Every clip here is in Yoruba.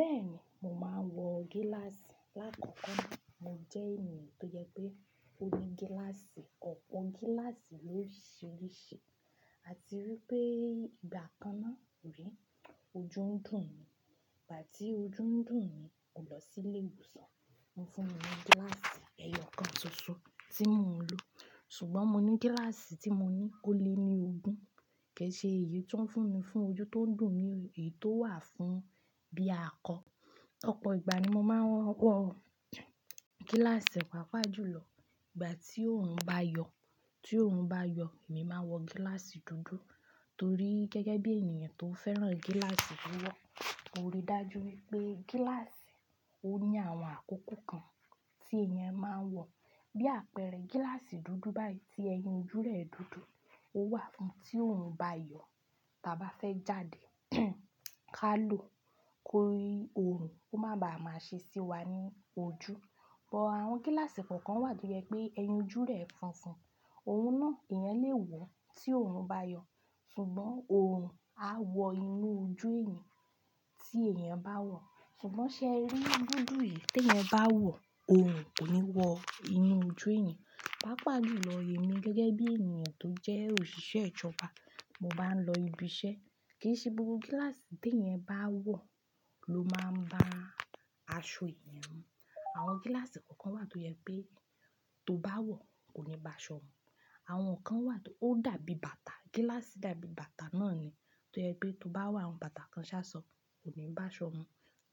Bẹ́ẹ̀ni, mò máa ń wọ gíláàsì. Lá kó kó, mo jẹ́ ènìyàn tó jẹ pé ó ní gíláàsì ọ̀pọ̀ gíláàsì lóriṣiríṣi. A ti rí i pé ìgbà kan náà, rí, ojú ń dùn mí. Ìgbà tí ojú ń dùn mí, mo lọ sí ilé ìwòsàn, wọ́n fún mi ní gíláàsì ẹyọ kan ṣoṣo tí mò ń lò. Ṣùgbọ́n mo ní gíláàsì tí mo ní kó lé mi ogún. Ki ṣẹ́ èyí tó ń fún mi fún ojú tó ń dùn mí, èyí tó wà fún bí a kọ. Ọ̀pọ̀ ìgbà ni mò máa ń wọ gíláàsì pàápàá jùlọ. Ìgbà tí oòrùn bá yọ, tí oòrùn bá yọ, èmi máa wọ gíláàsì dúdú torí gẹ́gẹ́ bí ènìyàn tó fẹ́ràn gíláàsì tó wọ̀. Mo rí dájú wípé gíláàsì ó ní àwọn àkókò kan tí èèyàn máa ń wọ. Bí àpẹẹrẹ gíláàsì dúdú báyìí tí ẹyin jú rẹ̀ dúdú, ó wà fún tí oòrùn bá yọ tàbí a fẹ́ jáde ká lò kórí oòrùn, ó máa ba à máa ṣe sí wa ní ojú. Ọ̀pọ̀ àwọn gíláàsì kọ̀ọ̀kan wà tó yẹ pé ẹyin jú rẹ̀ funfun. Òun náà èèyàn lè wọ̀ tí oòrùn bá yọ. Ṣùgbọ́n oòrùn a wọ inú ojú èèyàn tí èèyàn bá wọ̀. Ṣùgbọ́n ṣé ẹ rí dúdú yìí tí ẹ̀yin bá wọ̀, oòrùn kò ní wọ inú ojú èèyàn. Pàápàá jùlọ èmi gẹ́gẹ́ bí ènìyàn tó jẹ́ òṣìṣẹ́ ìjọba, mo bá ń lọ ibi iṣẹ́, kì í ṣe gbogbo gíláàsì tí ẹ̀yin bá wọ̀ ló máa ń bá aṣọ èèyàn mu. Àwọn gíláàsì kọ̀ọ̀kan wà tó yẹ pé tó bá wọ̀ kò ní bá aṣọ mu. Àwọn kan wà tó dàbí bàtà, gíláàsì dàbí bàtà náà ni tó yẹ pé tó bá wọ̀, àwọn bàtà kan ṣaṣọ, kò ní bá aṣọ mu.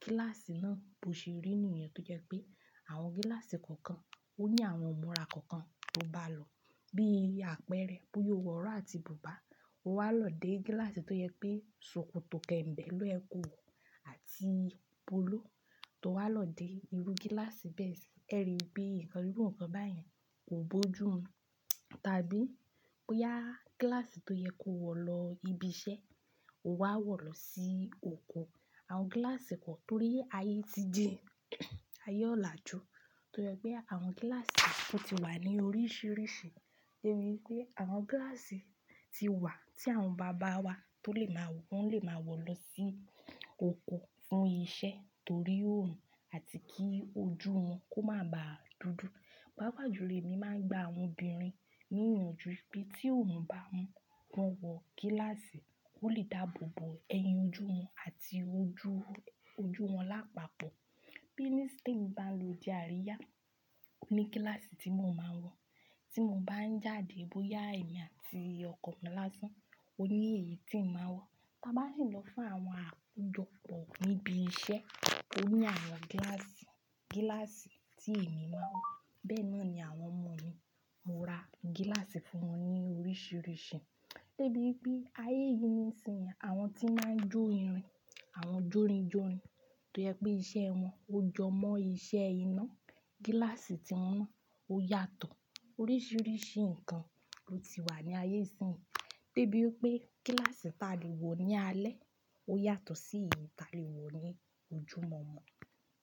Gíláàsì náà bó ṣe rí ènìyàn tó jẹ́ pé àwọn gíláàsì kọ̀ọ̀kan ó ní àwọn múra kọ̀ọ̀kan tó bá lò. Bí i àpẹẹrẹ, bó yóò wọ ọ̀rọ̀ àti bùbá, ó wá lọ dé gíláàsì tó yẹ pé ṣòkòtò kẹ̀ǹbẹ́, lọ ẹko àti polo tó wá lọ dé irú gíláàsì bẹ́ẹ̀ sì. Ẹ rí i pé nǹkan gbígbọ̀n kan báyìí kò bó jù mi. Tàbí bó yá gíláàsì tó yẹ kó wọ̀ lọ ibi iṣẹ́, o wá wọ̀ lọ sí oko. Àwọn gíláàsì kọ̀, torí ayé ti di ayé ọ̀làjú tó yẹ pé àwọn gíláàsì kọ̀ tí wà ní oríṣiríṣi. Rí i pé àwọn gíláàsì tí wà tí àwọn bàbá wa tó lè máa wọ, wọ́n lè máa wọ̀ lọ sí oko fún iṣẹ́ torí oòrùn àti kí ojú wọn kó má ba à dúdú. Pàápàá jùlọ èmi máa ń gba àwọn obìnrin nínú ojú pé tí oòrùn bá ń wọ́n wọ gíláàsì, ó lè dáàbò bo ẹyin ojú wọn àti ojú, ojú wọn lápapọ̀. Bí ní sting bá ń lo di àríyá, ó ní gíláàsì tí mò ń máa ń wọ. Tí mò ń bá ń jáde bóyá èmi àti ọkọ mi lásán, ó ní èyí tí ń máa wọ̀. Tà ba bá sì lọ fún àwọn àkójọpọ̀ níbi iṣẹ́, ó ní àwọn gíláàsì, gíláàsì tí èmi máa ń wọ̀. Bẹ́ẹ̀ náà ni àwọn ọmọ mi, mò ra gíláàsì fún wọn ní oríṣiríṣi. Dé bí pé ayé yìí nísìnyí, àwọn tí máa ń jó irin, àwọn jórinjórin tó yẹ pé iṣẹ́ wọn ó jọ mọ́ iṣẹ́ iná, gíláàsì tí wọ́n rán ó yàtọ̀. Oríṣiríṣi nǹkan ló ti wà ní ayé yìí. Dé bí pé gíláàsì tí a lè wọ̀ ní alẹ́ ó yàtọ̀ sí èyí tí a lè wọ̀ ní ojúmọ̀ọ̀mọ̀.